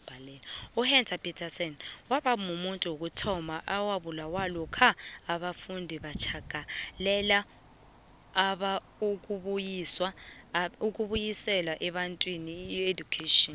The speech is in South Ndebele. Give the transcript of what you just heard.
uhector petrson wabamuntu wokuthoma owabulawa lokha abafundi batjagala abalwisa ibantu education